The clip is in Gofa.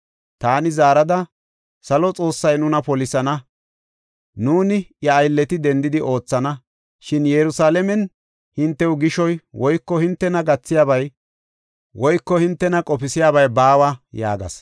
Taani zaarada, “Salo Xoossay nuna polisana; nuuni iya aylleti dendidi oothana. Shin Yerusalaamen hintew gishoy woyko hintena gathiyabay woyko hintena qofisiyabay baawa” yaagas.